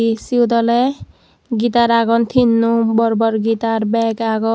esiot oley guitar agon tinno bor bor gitar bag agon.